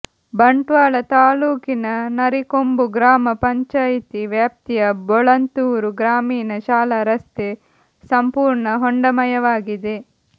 ಬಂಟ್ವಾಳ ತಾಲೂಕಿನ ನರಿಕೊಂಬು ಗ್ರಾಮ ಪಂಚಾಯಿತಿ ವ್ಯಾಪ್ತಿಯ ಬೋಳಂತೂರು ಗ್ರಾಮೀಣ ಶಾಲಾ ರಸ್ತೆ ಸಂಪೂರ್ಣ ಹೊಂಡಮಯವಾಗಿದೆ